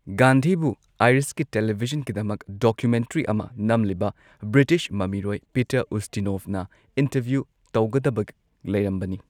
ꯒꯥꯟꯙꯤꯕꯨ ꯑꯥꯏꯔꯤꯁꯀꯤ ꯇꯦꯂꯤꯚꯤꯖꯟꯒꯤꯗꯃꯛ ꯗꯣꯀꯨꯃꯦꯟꯇꯔꯤ ꯑꯃ ꯅꯝꯂꯤꯕ ꯕ꯭ꯔꯤꯇꯤꯁ ꯃꯃꯤꯔꯣꯏ ꯄꯤꯇꯔ ꯎꯁꯇꯤꯅꯣꯚꯅ ꯏꯟꯇꯔꯚ꯭ꯌꯨ ꯇꯧꯒꯗꯕ ꯂꯩꯔꯝꯕꯅꯤ꯫